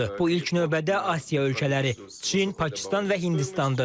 Bu ilk növbədə Asiya ölkələri Çin, Pakistan və Hindistandır.